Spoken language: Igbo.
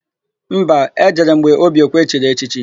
Mba, e jere m gbe Obiekwe chiri echichi.